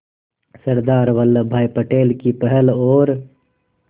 सरदार वल्लभ भाई पटेल की पहल और